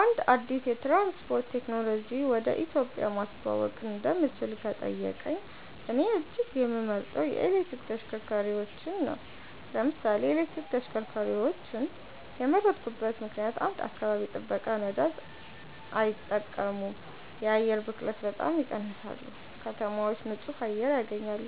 አንድ አዲስ የትራንስፖርት ቴክኖሎጂ ወደ ኢትዮጵያ ማስተዋወቅ እንደምችል ከተጠየቀኝ፣ እኔ እጅግ የምመርጠው የኤሌክትሪክ ተሽከርካሪዎች ነው። ለምን ኤሌክትሪክ ተሽከርካሪዎችን የመረጥኩበት ምክንደያት? 1. አካባቢ ጥበቃ ነዳጅ አይጠቀሙም የአየር ብክለትን በጣም ይቀንሳሉ ከተማዎች ንጹህ አየር ያገኛሉ